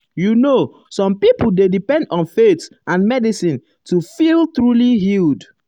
you know some um people dey depend on faith and medicine to feel truly healed.